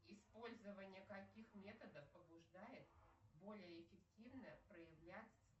использование каких методов побуждает более эффективно проявлять